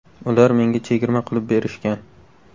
Ular menga chegirma qilib berishgan.